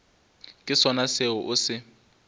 ke sona seo o se